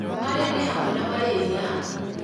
marĩa nĩ hamwe na marĩria,